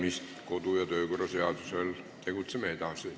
Tegutseme edasi kodu- ja töökorra seaduse alusel.